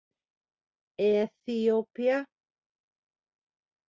Eþíópía